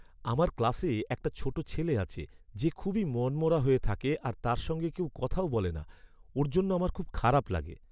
আমার ক্লাসে একটা ছোট ছেলে আছে যে খুবই মনমরা হয়ে থাকে আর তার সঙ্গে কেউ কথাও বলে না। ওর জন্য আমার খুব খারাপ লাগে।